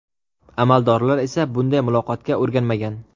Amaldorlar esa bunday muloqotga o‘rganmagan.